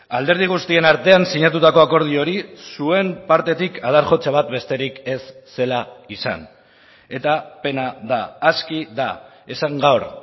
alderdi guztien artean sinatutako akordio hori zuen partetik adar jotze bat besterik ez zela izan eta pena da aski da esan gaur